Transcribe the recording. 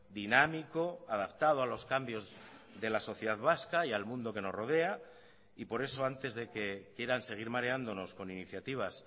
dinámico adaptado a los cambios de la sociedad vasca y al mundo que nos rodea y por eso antes de que quieran seguir mareándonos con iniciativas